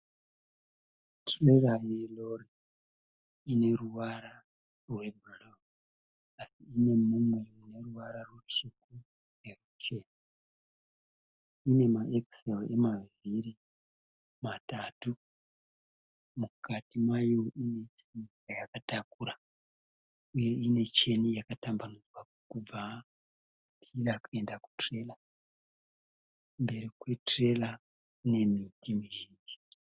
Tirera yerori ineruvara rwebhuruu asi inemumwe muneruvara rutsvuku neruchena. Inemaekiseri emavhiri matatu. Mukati mayo ine chayakatakura uye inecheni yakatambanudzwa kubva ichida kuenda kutirera. Mberi kwetirera kunemiti mizhinji.